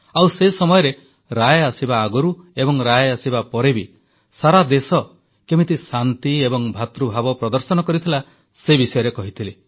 ଆଉ ସେ ସମୟରେ ରାୟ ଆସିବା ଆଗରୁ ଏବଂ ରାୟ ଆସିବା ପରେ ବି ସାରା ଦେଶ କେମିତି ଶାନ୍ତି ଏବଂ ଭ୍ରାତୃଭାବ ପ୍ରଦର୍ଶନ କରିଥିଲା ସେ ବିଷୟରେ କହିଥିଲି